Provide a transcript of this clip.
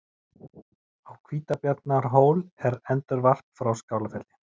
Á Hvítabjarnarhól er endurvarp frá Skálafelli.